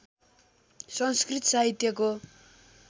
संस्कृत साहित्यको